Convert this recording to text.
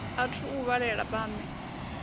a thu u vhalela vhaṋwe